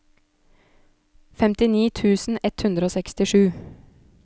femtini tusen ett hundre og sekstisju